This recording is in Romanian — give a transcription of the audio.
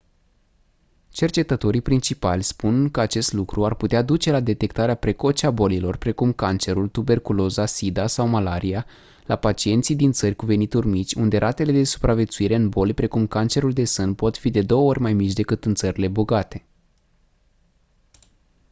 cercetătorii principali spun că acest lucru ar putea duce la detectarea precoce a bolilor precum cancerul tuberculoza sida sau malaria la pacienții din țări cu venituri mici unde ratele de supraviețuire în boli precum cancerul de sân pot fi de două ori mai mici decât în țările bogate